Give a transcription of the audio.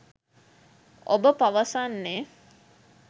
ඔබ පවසන්නේ